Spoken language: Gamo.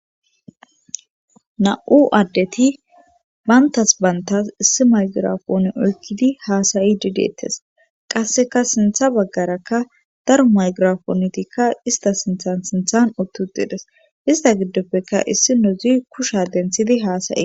Nam'u addeti bayntas bantas issi maygirafooni oykkidi haasayi dideettes qasseka sintha baggaraka daro maygirafoontikka ista sinthan sinthan ottudides ista giddoppeka issi nodzi kusha denthidi haasayi.